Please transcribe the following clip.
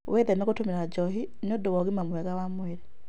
Wĩtheme gũtũmĩra njohi nĩ ũndũ wa ũgima mwega wa mwĩrĩ.